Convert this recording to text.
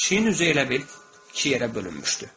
Pişiyin üzü elə bil iki yerə bölünmüşdü.